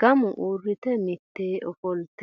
gamu uurrite mitu ofolte.